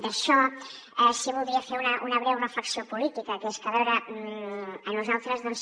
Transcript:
d’això sí que voldria fer una breu reflexió política que és que a veure a nosaltres doncs